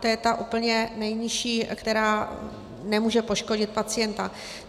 To je ta úplně nejnižší, která nemůže poškodit pacienta.